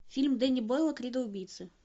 фильм дени бойла кредо убийцы